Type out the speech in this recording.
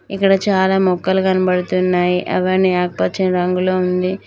ఇక్కడ చాలా మొక్కలు కనబడుతున్నాయి అవన్నీ ఆకుపచ్చ రంగులో ఉంది.